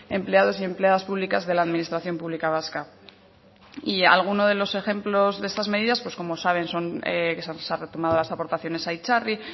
empleados y empleadas públicas de la administración pública vasca y alguno de los ejemplos de estas medidas pues como saben se han retomado aportaciones a itzarri